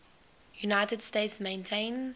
united states maintains